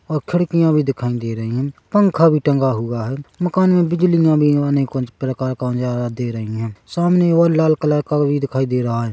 और खिड़कियां भी दिखाई दे रही है पंखा भी टंगा हुआ है मकान में बिजली भी आने को प्रकार कौन ज्यादा दे रही हैं सामने और लाल कलर का भी दिखाई दे रहा है।